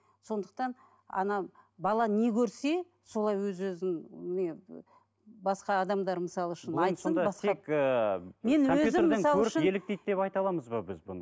сондықтан ана бала не көрсе солай өз өзін не і басқа адамдар мысалы шын айтсын басқа